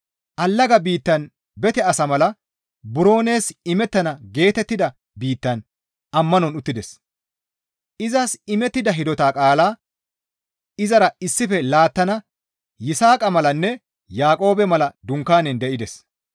Allaga biittaan bete asa mala buro nees imettana geetettida biittaan ammanon uttides; izas imettida hidota qaalaa izara issife laattana Yisaaqa malanne Yaaqoobe mala dunkaanen de7ides.